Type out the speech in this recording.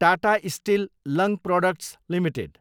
Tata Steel Long Products Ltd